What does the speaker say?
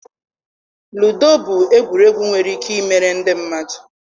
Ludo bụ egwuregwu nwere ike ịmere ndị mmadụ.